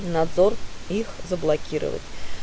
надзор их заблокировать